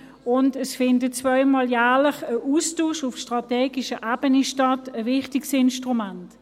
Zudem findet zweimal jährlich ein Austausch auf strategischer Ebene statt, ein wichtiges Instrument.